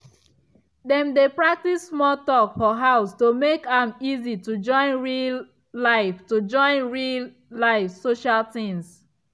dem dey practice small talk for house to make am easy to join real-life to join real-life social things.